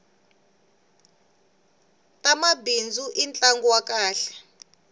tamabindzu i ntlangu wa kahle